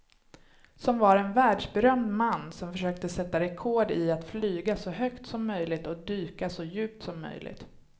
Som var en världsberömd man som försökte sätta rekord i att flyga så högt som möjligt och dyka så djupt som möjligt.